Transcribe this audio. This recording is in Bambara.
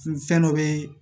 Fɛn dɔ be yen